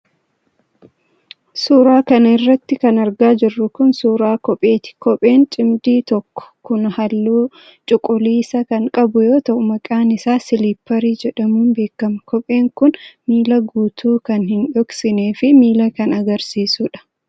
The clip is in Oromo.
Suura kana irratti kan argaa jirru kun, suura kopheeti. Kopheen cimdii tokko kun, haalluu cuquliisa kan qabu yoo ta'u, maqaan isaa siliipparii jedhamuun beekama. Kopheen kun miila guutuu kan hin dhoksinee fi miila kan agarsiisudha.